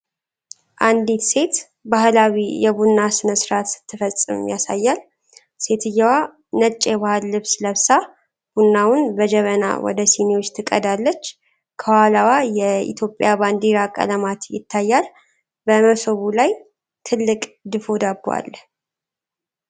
አንዲት ሴት ባህላዊ የቡና ሥነ-ሥርዓት ስትፈጽም ያሳያል። ሴትየዋ ነጭ የባህል ልብስ ለብሳ፣ ቡናውን በጀበና ወደ ሲኒዎች ትቀዳለች። ከኋላዋ የኢትዮጵያ ባንዲራ ቀለማት ይታያሉ። በምሶቡ ላይ ትልቅ ድፎ ዳቦ አለ፡፡